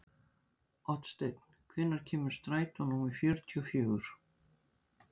Oddsteinn, hvenær kemur strætó númer fjörutíu og fjögur?